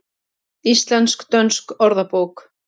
Íslensk-dönsk orðabók.